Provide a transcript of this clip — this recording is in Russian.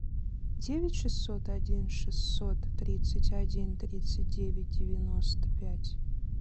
девять шестьсот один шестьсот тридцать один тридцать девять девяносто пять